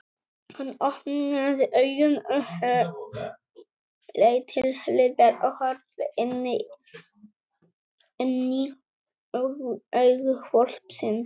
Hann opnaði augun og leit til hliðar og horfði inní augu hvolpsins!